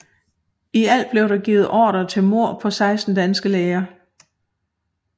I alt blev der givet ordrer til mord på 16 danske læger